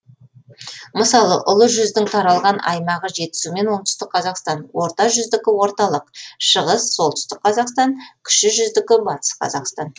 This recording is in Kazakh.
мысалы ұлы жүздің таралған аймағы жетісу мен оңтүстік қазақстан орта жүздікі орталық шығыс солтүстік қазақстан кіші жүздікі батыс қазақстан